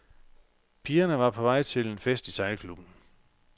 Pigerne var på vej til en fest i sejlklubben.